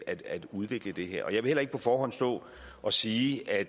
at udvikle det her og jeg vil heller ikke på forhånd stå og sige at